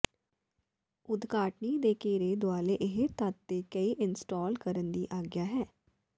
ਉਦਘਾਟਨੀ ਦੇ ਘੇਰੇ ਦੁਆਲੇ ਇਹ ਤੱਤ ਦੇ ਕਈ ਇੰਸਟਾਲ ਕਰਨ ਦੀ ਆਗਿਆ ਹੈ